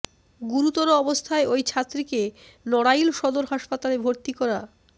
গুরুতর অবস্থায় ওই ছাত্রীকে নড়াইল সদর হাসপাতালে ভর্তি করা